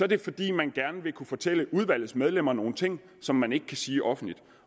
det fordi man gerne vil kunne fortælle udvalgets medlemmer nogle ting som man ikke kan sige offentligt